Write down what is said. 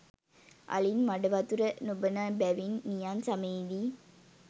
අලින් මඩවතුර නොබොන බැවින් නියං සමයේ දී